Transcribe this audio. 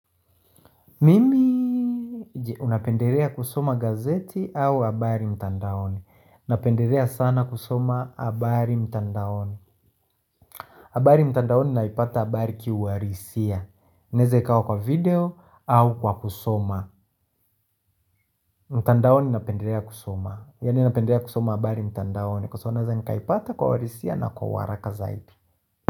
Mimi unapenderea kusoma gazeti au habari mtandaoni Unapenderea sana kusoma abari mtandaoni. Habari mtandaoni naipata habari kiwarisia inaezaikawa kwa video au kwa kusoma mtandaoni napenderea kusoma Yani napenderea kusoma abari mtandaoni Kwa soona za nikaipata kwa warisia na kwa waraka zaidi.